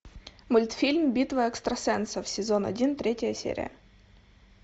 мультфильм битва экстрасенсов сезон один третья серия